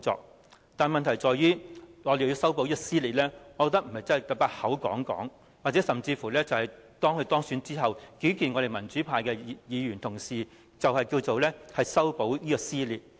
然而，問題在於若我們要修補撕裂，我認為不能單靠口講，甚至在當她當選後，與民主派議員會面，便叫作修補撕裂。